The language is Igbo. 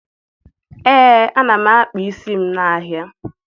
Ee, ana m akpa isi m n'ahịa